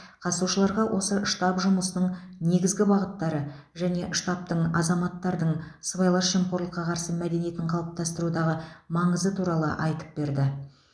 қатысушыларға осы штаб жұмысының негізгі бағыттары және штабтың азаматтардың сыбайлас жемқорлыққа қарсы мәдениетін қалыптастырудағы маңызы туралы айтып берді